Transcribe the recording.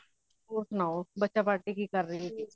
ਹੋਰ ਸੁਣਾਓ ਬੱਚਾ party ਕਿ ਕਰ ਰਹੀ ਸੀ